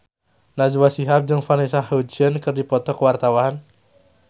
Najwa Shihab jeung Vanessa Hudgens keur dipoto ku wartawan